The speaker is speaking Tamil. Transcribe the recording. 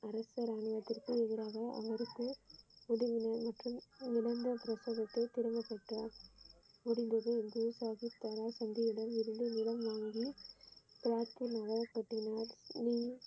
அரசர் ஆணியதுருக்கு எதிராக அவருக்கும் உதவினர் மற்றும் இழந்த பிரபோகத்தை திரும்ப பெற்றார் முடிந்தது என்று சாகிப் தந்தையிடம் இருந்து இடம் வாங்க